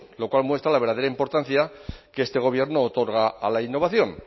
lo cual muestra la verdadera importancia que este gobierno otorga a la innovación